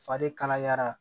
Fari kalayara